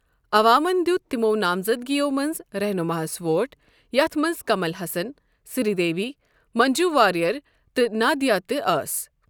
عَوامن دیت تِمو نامزدگیو منٛزٕ رحمانس ووٹ یتھ منز کَمل حَسن، سری دیوی، مٔنٛجو واریَر تہٕ نادِھیا تہِ ٲسۍ۔